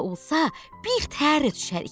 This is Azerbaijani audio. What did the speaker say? Belə olsa, bir tərə düşərik.